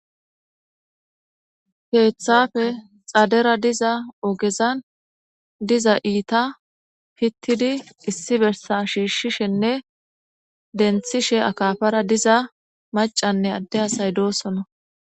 keeththafe xadera diza ogezan diza iita pittidi issi bersa shiishshishenne denthishe akafara diza macanne adde asay doosona